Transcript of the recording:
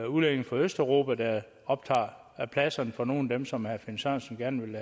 udlændinge fra østeuropa der optager pladserne for nogle af dem som herre finn sørensen gerne vil